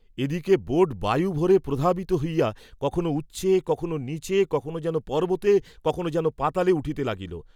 এদিকে বোট বায়ুভৱে প্রধাবিত হইয়া কখনও উচ্চে, কখনও নীচে, কখনো যেন পর্ব্বতে, কখনও যেন পাতালে উঠিতে লাগিল।